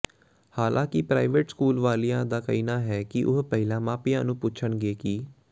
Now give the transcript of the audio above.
ਹਾਲਾਂਕਿ private school ਵਾਲਿਆਂ ਦਾ ਕਹਿਣਾ ਹੈ ਕਿ ਉਹ ਪਹਿਲਾਂ ਮਾਪਿਆਂ ਨੂੰ ਪੁੱਛਣਗੇ ਕਿ